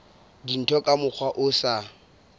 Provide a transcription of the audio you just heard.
dintho ka mokgwa o sa